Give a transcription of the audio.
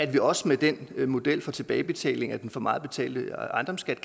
vi kan også med den model for tilbagebetaling af den for meget betalte ejendomsskat